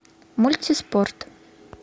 мультиспорт